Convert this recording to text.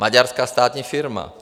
Maďarská státní firma.